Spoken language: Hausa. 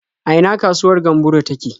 A ina kasuwar Gamburo take?